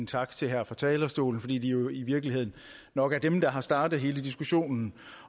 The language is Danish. tak til her fra talerstolen fordi de i virkeligheden nok er dem der har startet hele diskussionen